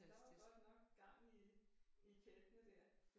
Og der var godt nok gang i i kælkene dér